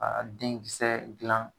Aa den kisɛ dilan